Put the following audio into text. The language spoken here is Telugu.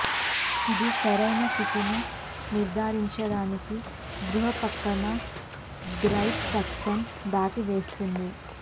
ఇది సరైన స్థితిని నిర్ధారించడానికి గృహ ప్రక్కన గైడ్ ట్రాక్స్ను దాటవేస్తుంది